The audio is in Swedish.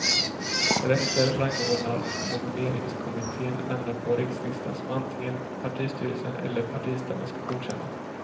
Därefter rangordnar nomineringskommittén namnen på rikslistan som antingen partistyrelsen eller partistämman ska godkänna.